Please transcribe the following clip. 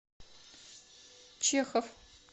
чехов